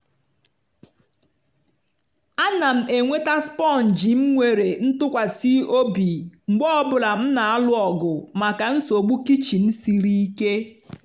a na m enweta sponge m nwere ntụkwasị obi mgbe ọ bụla m na-alụ ọgụ maka nsogbu kichin siri ike.